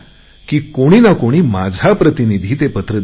कोणी ना कोणी माझा प्रतिनिधी ते पत्र देईल